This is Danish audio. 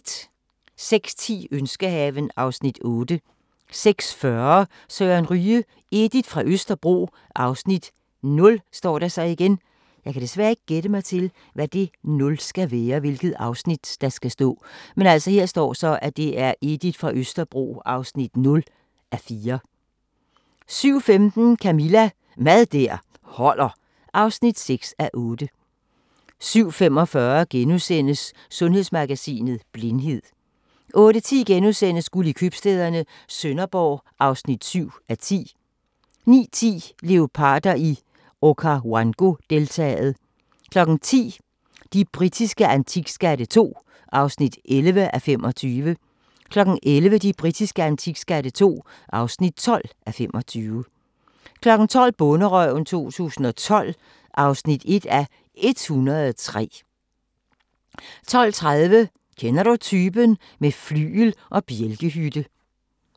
06:10: Ønskehaven (Afs. 8) 06:40: Søren Ryge: Edith fra Østerbro (0:4) 07:15: Camilla – Mad der holder (6:8) 07:45: Sundhedsmagasinet: Blindhed * 08:10: Guld i købstæderne - Sønderborg (7:10)* 09:10: Leoparder i Okavango-deltaet 10:00: De britiske antikskatte II (11:25) 11:00: De britiske antikskatte II (12:25) 12:00: Bonderøven 2012 (1:103) 12:30: Kender du typen? - med flygel og bjælkehytte